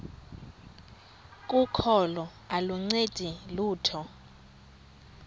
kokholo aluncedi lutho